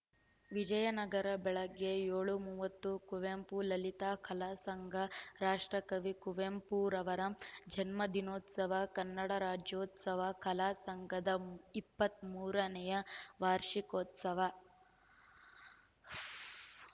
ವಿಜಯನಗರ ಬೆಳಗ್ಗೆ ಏಳು ಮೂವತ್ತು ಕುವೆಂಪು ಲಲಿತ ಕಲಾ ಸಂಘ ರಾಷ್ಟ್ರಕವಿ ಕುವೆಂಪುರವರ ಜನ್ಮದಿನೋತ್ಸವ ಕನ್ನಡರಾಜ್ಯೋತ್ಸವ ಕಲಾ ಸಂಘದ ಮ್ ಇಪ್ಪತ್ತ್ ಮೂರನೇ ವಾರ್ಷಿಕೋತ್ಸವ